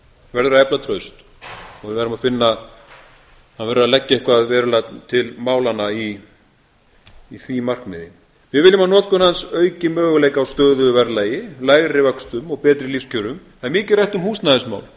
verður að efla traust og við verðum að finna það verður að leggja eitthvað verulega til málanna í því markmiði við viljum að notkun hans auki möguleika á stöðugu verðlagi lægri vöxtum og átt á lífskjörum það er mikið rætt um húsnæðismál um